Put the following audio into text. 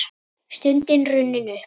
Stundin runnin upp!